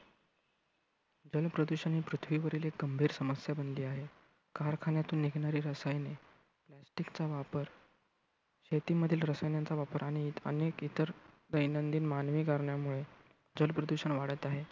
जल प्रदूषण ही पृथ्वीवरील एक गंभीर समस्या बनली आहे. कारखान्यांतून निघणारी रसायने, plastic चा वापर, शेतीमधील रसायनांचा वापर आणि अनेक इतर दैनंदिन मानवी कारणांमुळे जल प्रदूषण वाढत आहे.